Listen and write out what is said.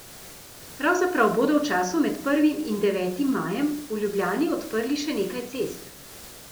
Pravzaprav bodo v času med prvim in devetim majem v Ljubljani odprli še nekaj cest.